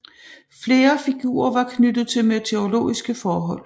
Flere figurer var knyttet til meteorologiske forhold